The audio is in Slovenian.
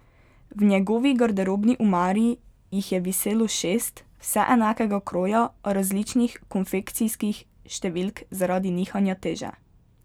V njegovi garderobni omari jih je viselo šest, vse enakega kroja, a različnih konfekcijskih številk zaradi nihanja teže.